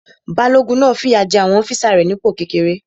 Balógun náà fìyà jé àwọn ọ́físà rẹ̀ onípò kékeré